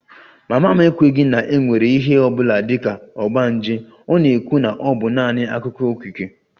Mama m ekweghị na e nwere ihe ọ bụla dị ka ogbanje, ọ na-ekwu na ọ bụ naanị akụkọ okike